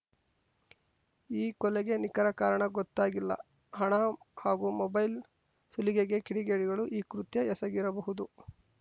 ಈ ಕೊಲೆಗೆ ನಿಖರ ಕಾರಣ ಗೊತ್ತಾಗಿಲ್ಲ ಹಣ ಹಾಗೂ ಮೊಬೈಲ್‌ ಸುಲಿಗೆಗೆ ಕಿಡಿಗೇಡಿಗಳು ಈ ಕೃತ್ಯ ಎಸಗಿರಬಹುದು